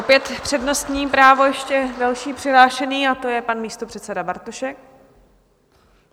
Opět přednostní právo ještě, další přihlášený, a to je pan místopředseda Bartošek.